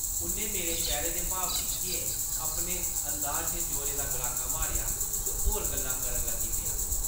उʼन्नै मेरे चेह्रे दे भाव दिक्खियै अपने अंदाज च जोरै दा गड़ाका मारेआ ते होर गल्लां करन लगी पेआ ।